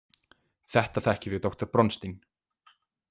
Þetta þekkjum við doktor Bronstein.